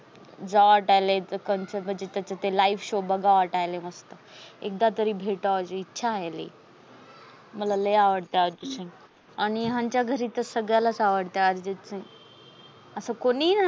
जाव वाटायले कोणच तरी live show बघाव मस्त एकदा तरी भेटायची इच्छा आहे. मला लय आवडते अर्जित सिंग, आणि आमच्या घरी त सगल्यास आवडते. अर्जित सिंग अस कोणीही